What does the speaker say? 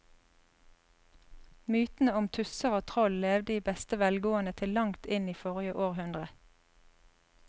Mytene om tusser og troll levde i beste velgående til langt inn i forrige århundre.